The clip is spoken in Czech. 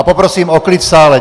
A poprosím o klid v sále.